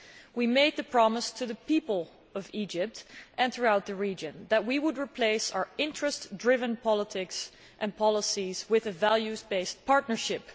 We made the promise to the people of Egypt and throughout the region that we would replace our interest driven politics and policies with a values based partnership.